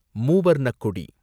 மூவர்ணக் கொடி